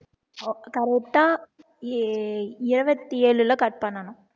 correct ஆ இருபத்தி ஏழுல cut பண்ணணும்